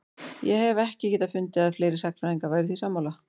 Ég hef ekki getað fundið að fleiri sagnfræðingar væru því sammála?